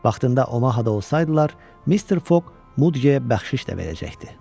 Vaxtında Omahada olsaydılar, Mister Foq Mudqeyə bəxşiş də verəcəkdi.